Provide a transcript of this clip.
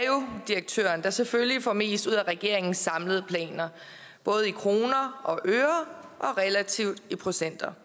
jo er direktøren der selvfølgelig får mest ud af regeringens samlede planer både i kroner og øre og relativt i procenter